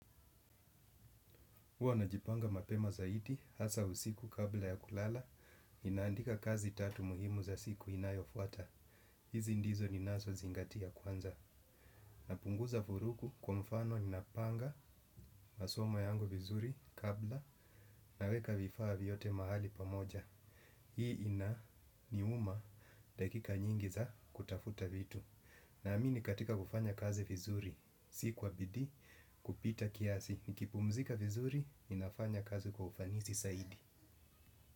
Huwa najipanga mapema zaidi hasa usiku kabla ya kulala, ninaandika kazi tatu muhimu za siku inayofuata. Hizi ndizo ni nazo zingatia kwanza. Napunguza furuku kwa mfano ninapanga masomo yangu vizuri kabla naweka vifaa vyote mahali pamoja. Hii inaniuma dakika nyingi za kutafuta vitu. Naamini katika kufanya kazi vizuri, si kwa bidi kupita kiasi. Nikipumzika vizuri, ninafanya kazi kwa ufanisi zaidi.